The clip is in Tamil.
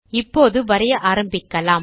இப்பொழுது வரைய ஆரம்பிக்கலாம்